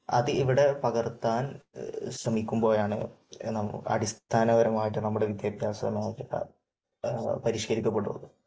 അത് ഇവിടെ പകർത്താൻ ശ്രമിക്കുമ്പോഴാണ് അടിസ്ഥാനപരമായിട്ട് നമ്മുടെ വിദ്യാഭ്യാസ മേഖല പരിഷ്കരിക്കപ്പെടുന്നത്.